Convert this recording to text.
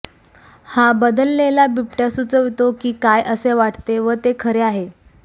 हा बदललेला बिबट्या सुचवितो की काय असे वाटते व ते खरे आहे